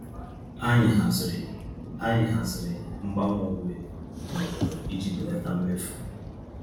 Anyị haziri Anyị haziri mgbanwe uwe n'obodo iji belata mmefu.